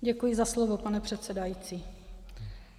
Děkuji za slovo, pane předsedající.